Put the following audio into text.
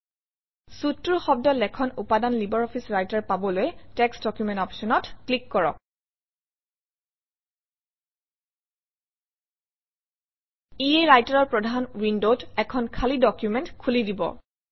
Suite টোৰ শব্দ লেখন উপাদান লাইব্ৰঅফিছ ৰাইটাৰ পাবলৈ টেক্সট ডকুমেণ্ট অপশ্যনত ক্লিক কৰক ইয়ে ৰাইটাৰৰ প্ৰধান উইণ্ডত এখন খালী ডকুমেণ্ট খুলি দিব